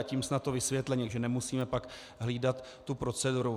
A tím snad to vysvětlení, že nemusíme pak hlídat tu proceduru.